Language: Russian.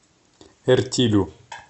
эртилю